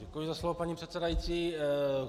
Děkuji za slovo, paní předsedající.